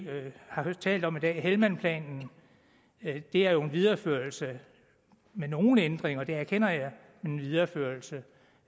har talt om i dag nemlig helmandplanen det er jo en videreførelse med nogle ændringer det erkender jeg men en videreførelse